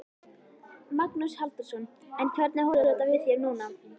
Magnús Halldórsson: En hvernig horfir þetta við þér núna?